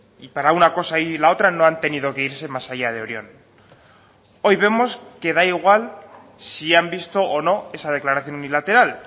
y para una cosa y la otra no han tenido que irse más allá de orión hoy vemos que da igual si han visto o no esa declaración unilateral